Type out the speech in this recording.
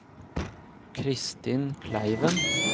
Kristin Kleiven